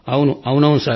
అవును అవును అవును